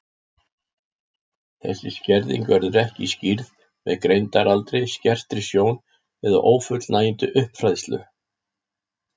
Þessi skerðing verður ekki skýrð með greindaraldri, skertri sjón eða ófullnægjandi uppfræðslu.